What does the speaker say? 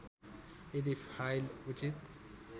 यदि फाइल उचित